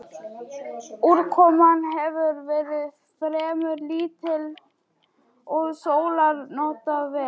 Úrkoman hefur verið fremur lítil og sólar notið vel.